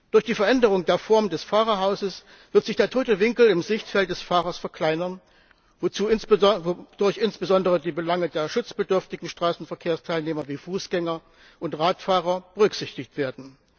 Durch die Veränderung der Form des Fahrerhauses wird sich der tote Winkel im Sichtfeld des Fahrers verkleinern, wodurch insbesondere die Belange der schutzbedürftigen Straßenverkehrsteilnehmer wie Fußgänger und Radfahrer berücksichtigt werden.